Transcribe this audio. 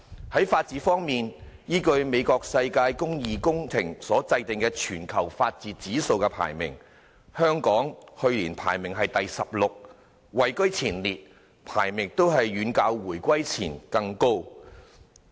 在法治方面，依據世界公義工程所制訂的全球法治指數排名，香港去年排名第十六位，位居前列，排名遠較回歸前高。